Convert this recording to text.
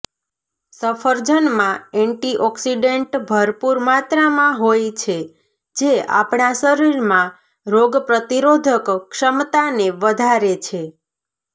સફળજનમાં antioxidant ભરપૂર માત્રામાં હોય છે જે આપણા શરીરમાં રોગ પ્રતિરોધક ક્ષમતાને વધારે છે